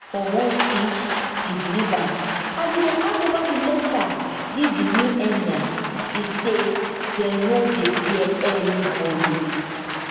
for one speech e deliver as e dey hand over di letter give di new emir e say dem noi dey fear anybody